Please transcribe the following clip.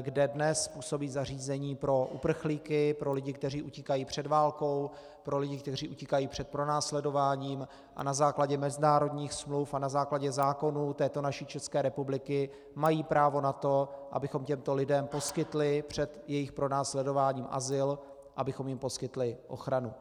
kde dnes působí zařízení pro uprchlíky, pro lidi, kteří utíkají před válkou, pro lidi, kteří utíkají před pronásledováním a na základě mezinárodních smluv a na základě zákonů této naší České republiky mají právo na to, abychom těmto lidem poskytli před jejich pronásledováním azyl, abychom jim poskytli ochranu.